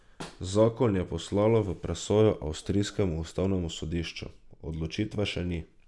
Zakon je poslalo v presojo avstrijskemu ustavnemu sodišču, odločitve še ni.